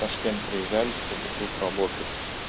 ташкент приезжали чтобы тут работать